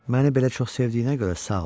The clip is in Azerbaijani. Məni belə çox sevdiyinə görə sağ ol.